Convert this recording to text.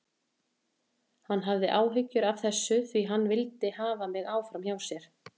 Hann hafði áhyggjur af þessu því hann vildi hafa mig áfram hjá sér.